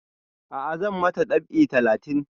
A'a zan ma ta dab'i littafi